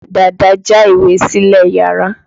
Dàda já ìwé sílẹ̀ iyàrá.